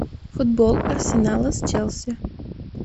футбол арсенала с челси